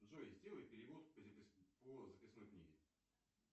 джой сделай перевод по записной книге